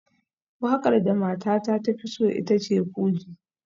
Wakar da matata ta fi so ita ce fuji